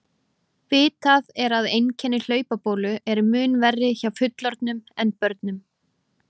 Vitað er að einkenni hlaupabólu eru mun verri hjá fullorðnum en börnum.